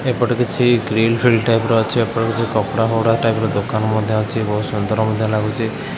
ଏପଟେ କିଛି ଗ୍ରୀଲ୍ ଫ୍ରିଲ ଟାଇପ୍ ର ଅଛି ଏପଟେ କିଛି କପଡ଼ା ଫପଡ଼ା ଟାଇପ୍ ର ଦୋକାନ ମଧ୍ୟ ଅଛି ବହୁତ ସୁନ୍ଦର ମଧ୍ୟ ଲାଗୁଚି ।